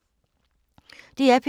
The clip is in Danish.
DR P2